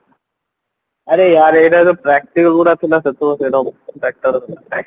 ଆରେ ୟାର ଏଇଟା ଗୋଟେ ସେତେବେଳେ ସେଇଗୁଡା ସବୁ batter ଥିଲା